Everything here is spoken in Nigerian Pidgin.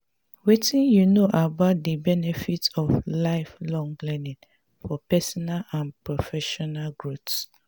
wetin you know about di benefits of lifelong learning for personal and professional growth?